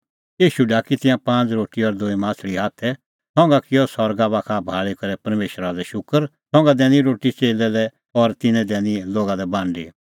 ईशू ढाकी तिंयां पांज़ रोटी और दूई माह्छ़ली हाथै संघा किअ सरगा बाखा भाल़ी करै परमेशरा लै शूकर संघा दैनी रोटी च़ेल्लै लै और तिन्नैं दैनी लोगा लै बांडी